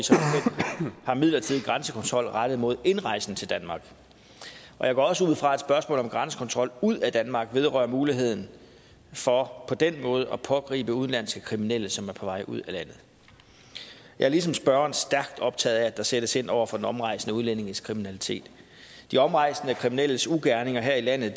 har en midlertidig grænsekontrol rettet mod indrejsen til danmark jeg går også ud fra at spørgsmålet om grænsekontrol ud af danmark vedrører muligheden for på den måde at pågribe udenlandske kriminelle som er på vej ud af landet jeg er ligesom spørgeren stærkt optaget af at der sættes ind over for de omrejsende udlændinges kriminalitet de omrejsende kriminelles ugerninger her i landet